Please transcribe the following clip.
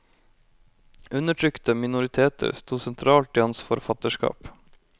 Undertrykte minoriteter sto sentralt i hans forfatterskap.